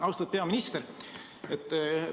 Austatud peaminister!